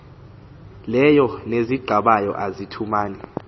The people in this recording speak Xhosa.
leyo neziqabayo azithumani